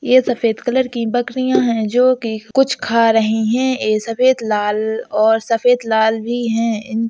यह सफेद कलर की बकरियाँ हैं जो कि कुछ खा रही हैं। ये सफेद लाल और सफेद लाल भी हैं इन --